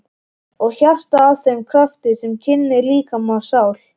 Og hjartað að þeim krafti sem kyndir líkama og sál?